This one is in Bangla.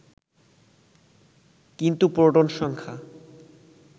কিন্তু প্রোটন সংখ্যা